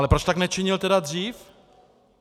Ale proč tak nečinil tedy dřív?